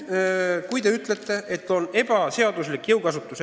Te väidate, et oli ebaseaduslik jõukasutus.